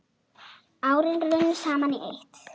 Árin runnu saman í eitt.